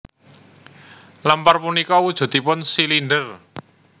Lemper punika wujudipun silinder